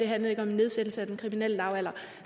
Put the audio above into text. handlede om nedsættelse af den kriminelle lavalder